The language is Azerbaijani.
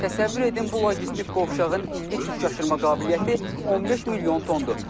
Təsəvvür edin bu logistik qovşağın illik yük aşırıma qabiliyyəti 15 milyon tondur.